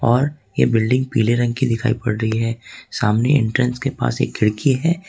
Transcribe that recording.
और ये बिल्डिंग पीले रंग की दिखाई पड़ रही है सामने एंट्रेंस के पास एक खिड़की है।